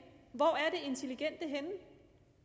hvor er det intelligente henne